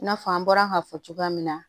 I n'a fɔ an bɔra ka fɔ cogoya min na